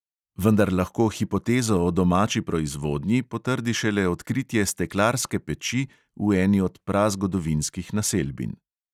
Vendar lahko hipotezo o domači proizvodnji potrdi šele odkritje steklarske peči v eni od prazgodovinskih naselbin.